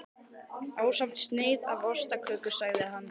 Ásamt sneið af ostaköku sagði hann.